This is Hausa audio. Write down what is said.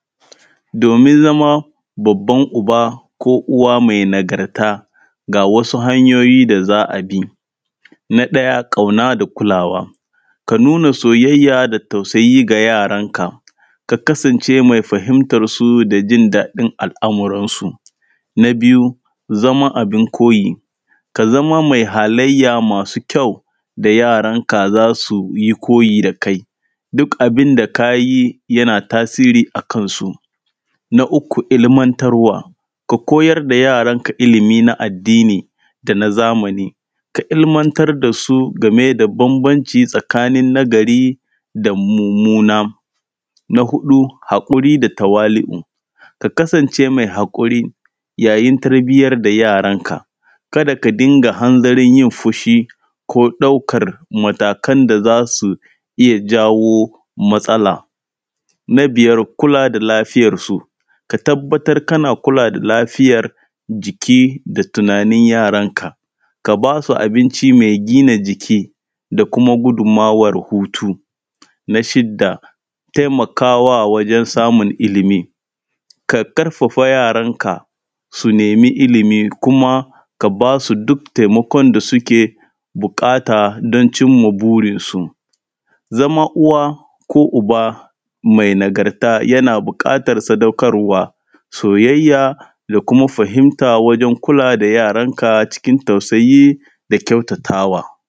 Domin zama babban uwa ko uba mai nagarta, ga wasu hanyoyi da za a bi. Na ɗaya ƙauna da kulawa, ka nuna soya da tausayi ga yaranka. Ka kasance mai fahimtarsu da jin daɗin al’amarisu. Na biyu zama abin koyi, ka zama mai halayya masu kyau, da yaranka za su yi koyi da kai, duk abin da ka yi yana tasiri a kansu. Na uku olimantarwa, ka koyar da yaranka ilimi na addini da na zamani. Ka ilimantar da su game da bambanci tsakanin nagari da mummuna. Na huɗu haƙuri da tawali\u, ka kasance mai haƙuri yayin tarbiyan da yaranka, kada ka dinga hanzarin yi fushi ko ɗaukar matakan da za su iya jawo matsala. Na biyar kula da lafiarsu, ka tabbatar kana kula da lafiyar jiki da tunanin yaranka,. Ka basu abinci mai gina jiki da kuma gudun mawar hutu. Na shidda taimakawa wajen samun ilimi, ka ƙarfafa yaranka su nemi ilimi kima k aba su duk taimakon da suke buƙata don cimma burinsu. Zama uwa ko uba mai nagarta, yana buƙatar sadaukarwa, soyayya da kuma fahimta wajen kulawa da yaranka cikin tausai da kyautatawa.